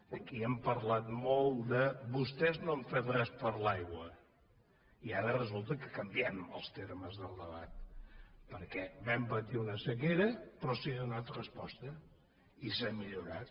aquí han parlat molt de vostès no han fet res per l’aigua i ara resulta que canviem els termes del debat perquè vam patir una sequera però s’hi ha donat resposta i s’ha millorat